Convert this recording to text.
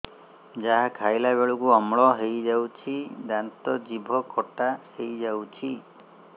ଯାହା ଖାଇଲା ବେଳକୁ ଅମ୍ଳ ହେଇଯାଉଛି ଦାନ୍ତ ଜିଭ ଖଟା ହେଇଯାଉଛି